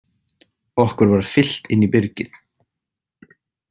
Okkur var fylgt inn í byrgið.